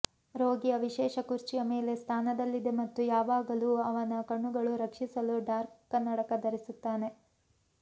ರೋಗಿಯ ವಿಶೇಷ ಕುರ್ಚಿಯ ಮೇಲೆ ಸ್ಥಾನದಲ್ಲಿದೆ ಮತ್ತು ಯಾವಾಗಲೂ ಅವನ ಕಣ್ಣುಗಳು ರಕ್ಷಿಸಲು ಡಾರ್ಕ್ ಕನ್ನಡಕ ಧರಿಸುತ್ತಾನೆ